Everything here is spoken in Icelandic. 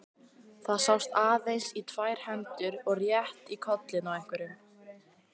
Það sást aðeins í tvær hendur og rétt í kollinn á einhverjum.